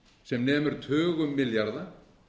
sem nemur tugum milljarða